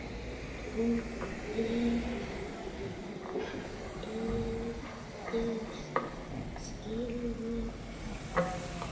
Hún virtist skilja það.